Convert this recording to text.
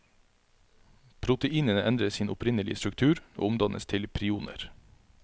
Proteinene endrer sin opprinnelige struktur, og omdannes til prioner.